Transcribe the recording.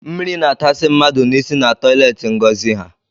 Mmiri na atasị mmadụ n’isi na toileti Ngozi ha